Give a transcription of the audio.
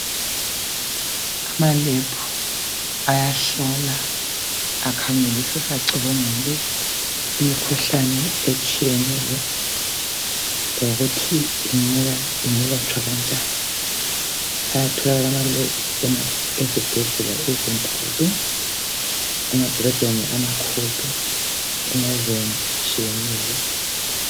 Amalebhu ayahlola, akhangelisise, acubungule imikhuhlane etshiyeneyo lokuthi ingelatshwa kanjani. Ayatholakala amalebhu ezibhedlela ezinkulu, emadolobheni amakhulu emazweni atshiyeneyo.